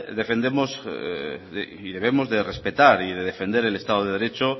defendemos y debemos de respetar y defender el estado de derecho